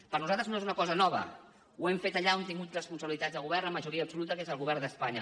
per a nosaltres no és una cosa nova ho hem fet allà on hem tingut responsabilitats de govern amb majoria absoluta que és el govern d’espanya